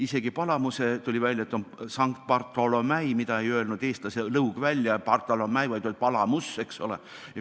Isegi Palamuse, tuli välja, on Saint Bartholomeus, mida eestlase lõug ei öelnud välja, vaid oli Palamuse, eks ole.